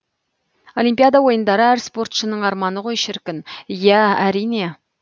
олимпиада ойындары әр спортшының арманы ғой шіркін иә әрине